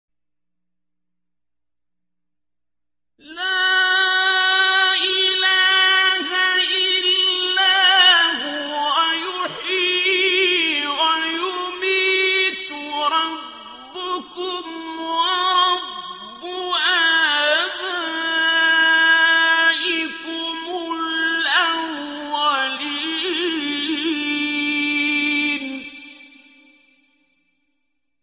لَا إِلَٰهَ إِلَّا هُوَ يُحْيِي وَيُمِيتُ ۖ رَبُّكُمْ وَرَبُّ آبَائِكُمُ الْأَوَّلِينَ